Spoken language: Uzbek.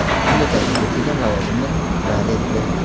unga taklif etilgan lavozimni rad etdi.